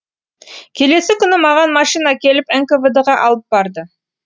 келесі күні маған машина келіп нквд ға алып барды